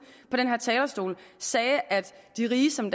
på den her talerstol sagde at de rige som